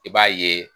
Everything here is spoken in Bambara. I b'a ye